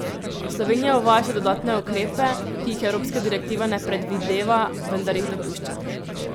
Slovenija uvaja še dodatne ukrepe, ki jih evropska direktiva ne predvideva, vendar jih dopušča.